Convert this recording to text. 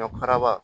Ɲɔ karaba